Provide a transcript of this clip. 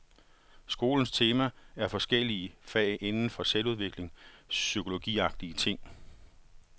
Skolens tema er forskellige fag inden for selvudvikling, psykologiagtige ting.